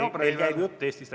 Meil käib jutt Eestist.